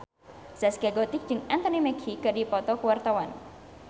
Zaskia Gotik jeung Anthony Mackie keur dipoto ku wartawan